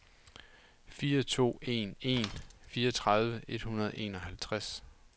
fire to en en fireogtredive et hundrede og enoghalvtreds